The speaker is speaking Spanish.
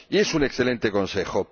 Y es un excelente consejo.